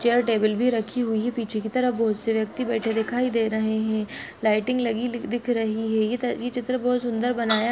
Chair table भीं रखी हुई है पीछे की तरफ बहुत से ब्यक्ति बैठे दिखाई दे रहे है लाइटिंग लगी दिख रही है ये चित्र बहुत सुन्दर बनाया।